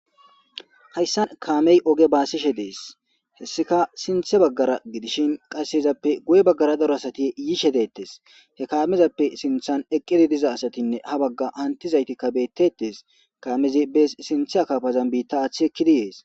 hayssan kaamey oge baasishe dees hessika sinthe baggara gidishin qasseyezappe guye baggara daro asati yiishe deettes he kaamezappe sinthan eqqidi diza asatinne ha bagga antizayti kabetetes kaamezi bees sinthe akaafazan biitta aathchi ekki di yees